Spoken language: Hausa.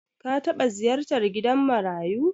Ka taɓa ziyartar gidan marayu?